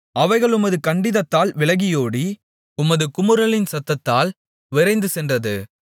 அவைகள் உமது கண்டிதத்தால் விலகியோடி உமது குமுறலின் சத்தத்தால் விரைந்துசென்றது